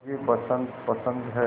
मुझे बसंत पसंद है